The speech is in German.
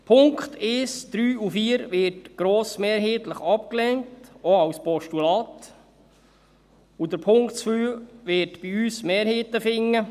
Die Punkte 1, 3 und 4 werden grossmehrheitlich abgelehnt, auch als Postulat, und der Punkt 2 wird bei uns Mehrheiten finden.